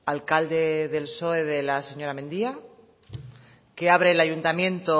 alcalde del psoe de la señora mendia que abre el ayuntamiento